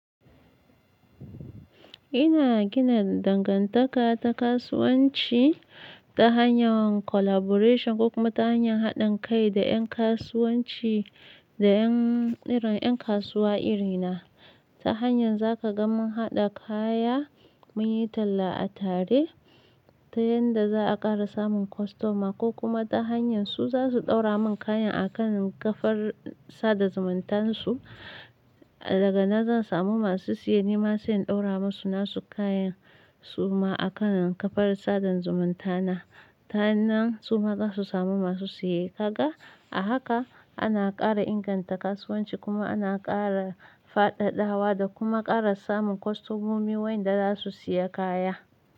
Ina gina dangantaka ta kasuwanci ta hanyar collaboration kuma ta hanyar haɗin kai da ƴan kasuwanci da ƴan irin ƴan kasuwa irina. Ta hanyar za ka ga mun haɗa kaya, mun yi talla a tare ta yadda za a ƙara samun kostoma ko kuma ta hanyar su za su ɗaura mun kayan a kan kafar sada zumuntansu. Daga nan zan samu masu siya, ni ma zan ɗaura masu nasu kayan suma a kan kafar sadan zumuntana. Ta nan su ma za su samu masu siye. Ka ga? A haka ana ƙara inganta kasuwanci kuma ana ƙara fadadawa da kuma ƙara samun kostomomi wayanda za su siya kaya.